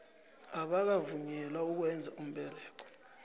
abakavunyelwa ukwenza umsebenzi